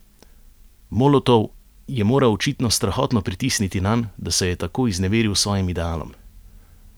Molotov je moral očitno strahotno pritisniti nanj, da se je tako izneveril svojim idealom.